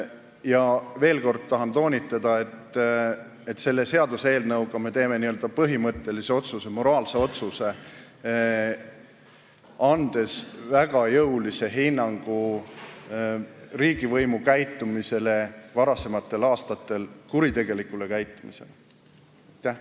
Ja veel kord tahan toonitada, et selle eelnõu heakskiitmisega me teeme põhimõttelise otsuse, moraalse otsuse, andes väga jõulise hinnangu riigivõimu kuritegelikule käitumisele varasematel aastatel.